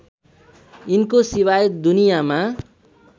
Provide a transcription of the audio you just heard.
यिनको सिवाय दुनियामा